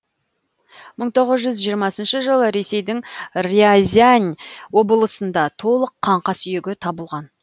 мың тоғыз жүз жиырмасыншы жылы ресейдің рязань облысында толық қаңқа сүйегі табылған